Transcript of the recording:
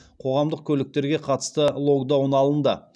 қоғамдық көліктерге қатысты локдауын алынды